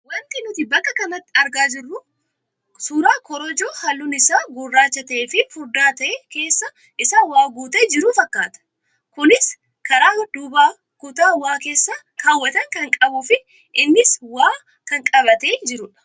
Wanti nuti bakka kanatti agarru kun suuraa korojoo halluun isaa gurraacha ta'ee fi furdaa ta'ee keessa isaa waa guutee jiru fakkaata. Kunis karaa duubaa kutaa waa keessa kaawwatan kan qabuu fi innis waa kan qabatee jirudha.